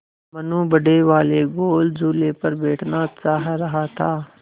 मनु बड़े वाले गोल झूले पर बैठना चाह रहा था